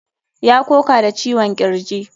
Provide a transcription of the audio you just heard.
Ya koka da ciwon kirji.